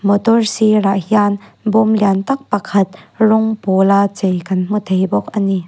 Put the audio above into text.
motor sîrah hian bâwm lian tak pakhat rawng pâwl a chei kan hmu thei bawk ani.